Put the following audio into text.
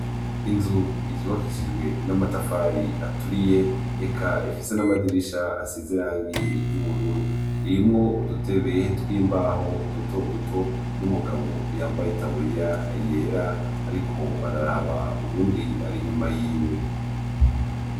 Inzu zubakishijwe n'amatafari aturiye eka ifise n'amadirisha asize irangi iryubururu irimwo udutebe twimbaho duto duto n'umugabo yambaye itaburiya yera ariko araraba uyundi ari inyuma yiwe.